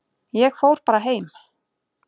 Ég fór bara heim.